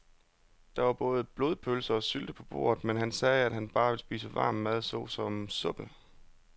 Der var både blodpølse og sylte på bordet, men han sagde, at han bare ville spise varm mad såsom suppe.